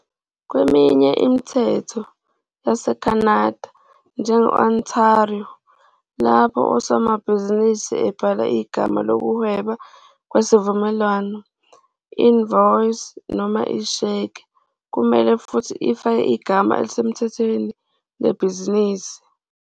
Kweminye imithetho yaseCanada, njenge-Ontario, lapho usomabhizinisi ebhala igama lokuhweba kwisivumelwano, invoice, noma isheke, kumele futhi afake igama elisemthethweni lebhizinisi.